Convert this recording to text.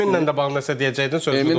Eminlə də bağlı nəsə deyəcəkdin, sözün oldu.